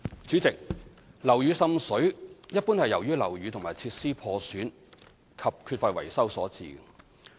主席，樓宇滲水一般是由於樓宇和設施破損及缺乏維修所致。